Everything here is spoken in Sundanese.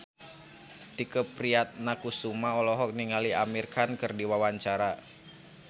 Tike Priatnakusuma olohok ningali Amir Khan keur diwawancara